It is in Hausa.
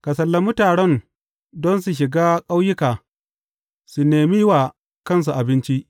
Ka sallami taron don su shiga ƙauyuka su nemi wa kansu abinci.